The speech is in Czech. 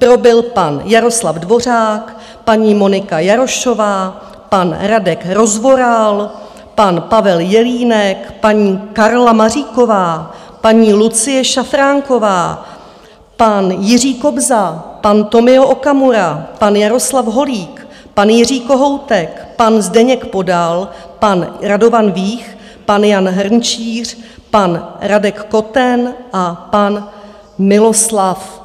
Pro byl pan Jaroslav Dvořák, paní Monika Jarošová, pan Radek Rozvoral, pan Pavel Jelínek, paní Karla Maříková, paní Lucie Šafránková, pan Jiří Kobza, pan Tomio Okamura, pan Jaroslav Holík, pan Jiří Kohoutek, pan Zdeněk Podal, pan Radovan Vích, pan Jan Hrnčíř, pan Radek Koten a pan Miloslav